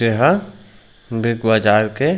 ये ह Big Bazaar के--